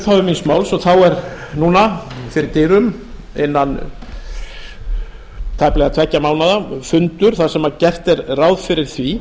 eins og ég sagði í upphafi míns máls er núna fyrir dyrum innan tæplega tveggja mánaða fundur þar sem gert er ráð fyrir því